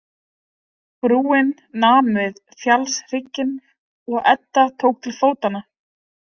Brúin nam við fjallshrygginn og Edda tók til fótanna.